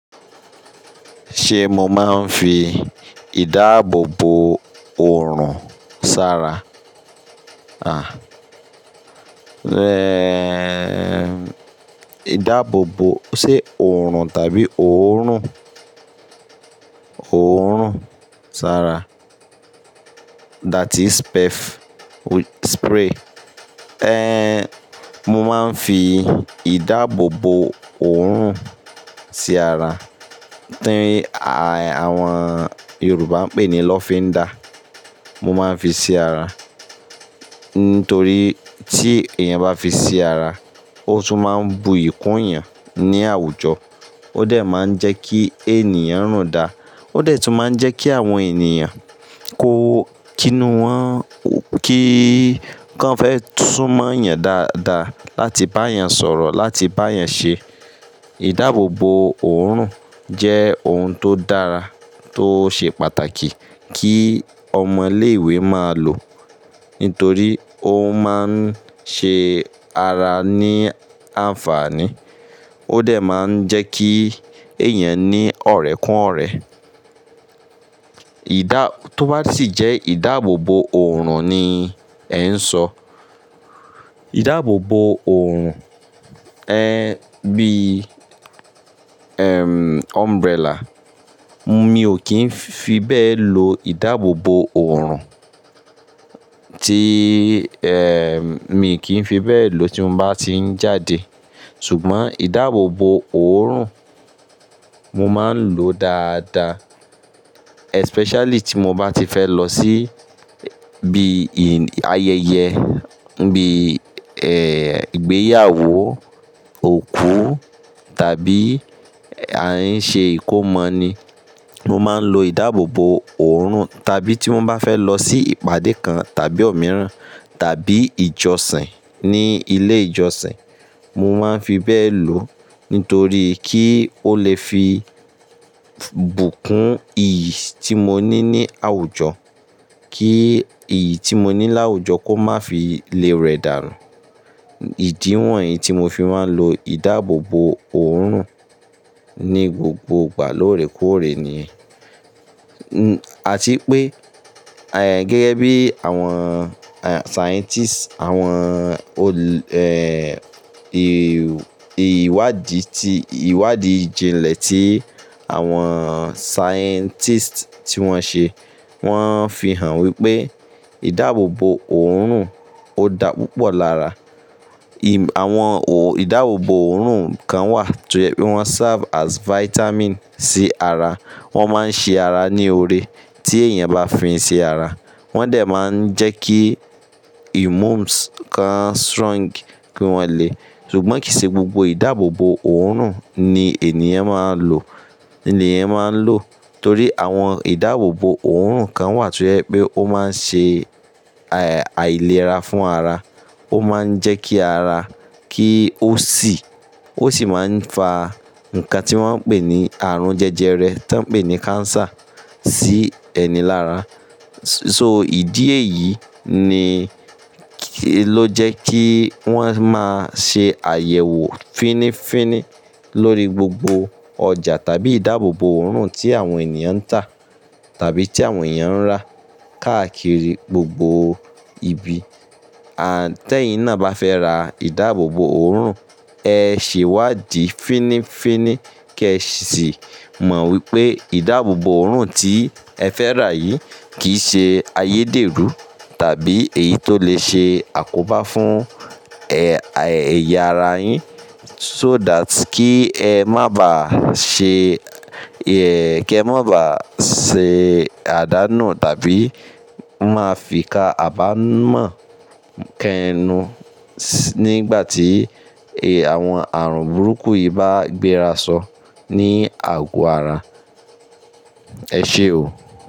Ṣe mo maa n fi idaabobo oorun sara? Ah, eh, idaabobo, ṣe oorun tabi oorun? Oorun sara that is spray. Eh, mo maa n fi idaabobo oorun si ara, ti awon Yoruba n pe ni lofinda. Mo maa n fi si ara, nitori ti eniyan ba fi si ara, o tun maa n bu yi kun eniyan ni awujo. O de maa n je ki eniyan runda, o de tun maa n je ki awon eniyan ko kinu won, ki kan fe sun mo eeyan dada lati ba eeyan soro, lati ba eeyan se. Idaabobo oorun je oun to dara to se pataki ki omo ile-iwe maa lo. Nitori oun maa n se ara ni anfani. O de maa n je ki eniyan ni orekun ore. Ida, to ba si je idaabobo oorun ni en so. Idaabobo oorun, eh, bi, em, umbrella. Mi o kin fi be lo idaabobo oorun, ti, em, mi ki n fi be lo ti mo ba ti n jade. Sugbon idaabobo oorun mo maa n lo dada, especially ti mo ba ti fe lo si bi ayeye, bi, eh, igbeyawo, oku tabi a n se ikomo ni. Mo maa n lo idaabobo oorun tabi ti mo ba fe lo si ipade kan tabi omiran tabi ijosin ni ile ijosin. Mo maa n fi be lo nitori ki o le fi bu kun iyi ti mo ni ni awujo. Ki iyi ti mo ni laawujo ko ma fi le re darun. Idi won yi ti mo fi maa n lo idaabobo oorun ni gbogbo igba lorekoore ni. Ati pe, gege bi awon scientists, awon, eh, iwadi ti, iwadi jinle ti awon scientists ti won se, won fi han wipe idaabobo oorun o da pupo lara. Awon idaabobo oorun kan wa ti o ye pe won serve as vitamin si ara. Won maa n se ara ni ore ti eniyan ba fi n si ara. Won de maa n je ki immune kan strong ki won le. Sugbon kii se gbogbo idaabobo oorun ni eniyan maa n lo, eniyan maa n lo. Tori awon idaabobo oorun kan wa ti o ye pe o maa n se ailera fun ara. O maa n je ki ara, ki o si, o si maa n fa nkan ti won n pe ni aarun jeje re ti won n pe ni cancer si eni lara. So idi eyi ni, lo je ki won maa n se ayewo fini fini lori gbogbo oja tabi idaabobo oorun ti awon eniyan n ta tabi ti awon eniyan n ra. Kaakiri gbogbo ibi. Te yin na ba fe ra idaabobo oorun, e se iwadi fini fini ki e si mo wipe idaabobo oorun ti e fe ra yi kii se ayederu tabi eyi to le se akoba fun e, eya ara yin. So that ki e ma ba se, ki e ma ba se adanu tabi ma fi ka abamọ kẹnu nigba ti awon aarun buruku yi ba gbera sọ ni ago ara. E ṣe o.